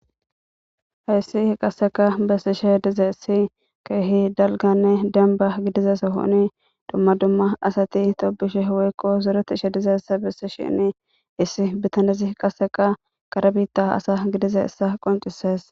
hayssi h qasseka bessishe dize issi keehi dalganne demba gidiza sahooni dumma dumma asati tobishe woykko zureti ishe dizessa bessi shinni issi bitanezi qaseqa kara bitta asa gidiza issa qoncises